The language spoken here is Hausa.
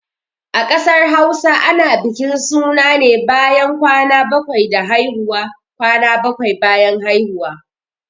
A ƙasar Hausa ana bukin suna ne bayan kwan bakwai da haihuwa. kwana bakwai bayan haihuwa